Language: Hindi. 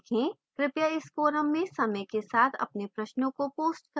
कृपया इस forum में समय के साथ अपने प्रश्नों को post करें